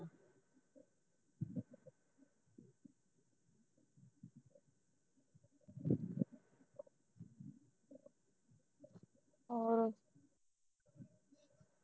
ਹੋਰ